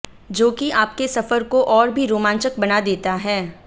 जो कि आपके सफर को और भी रोमांचक बना देता है